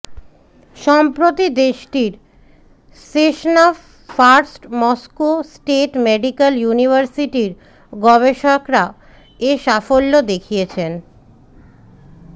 সম্প্রতি দেশটির Sechenov First Moscow State Medical ইউনিভার্সিটির গবেষকরা এ সাফল্য দেখিয়েছেন